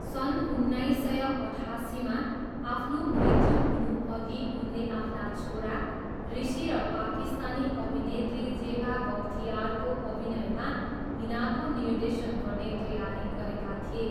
सन् उन्नाइस सय अठासीमा आफ्नो मृत्यु हुनुअघि उनले आफ्ना छोरा ऋषि र पाकिस्तानी अभिनेत्री जेबा बख्तियारको अभिनयमा हिनाको निर्देशन गर्ने तयारी गरेका थिए।